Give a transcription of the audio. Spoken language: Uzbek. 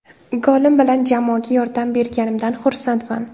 Golim bilan jamoaga yordam berganimdan xursandman.